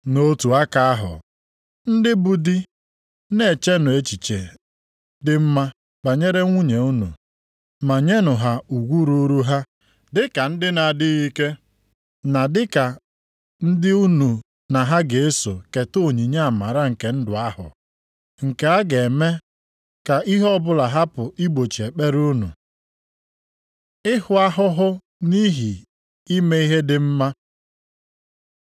Nʼotu aka ahụ, ndị bụ di na-echenụ echiche dị mma banyere nwunye unu, ma nyenụ ha ugwu ruuru ha dịka ndị na-adịghị ike na dịka ndị unu na ha ga-eso keta onyinye amara nke ndụ ahụ. Nke a ga-eme ka ihe ọbụla hapụ igbochi ekpere unu. Ịhụ ahụhụ nʼihi ime ihe dị mma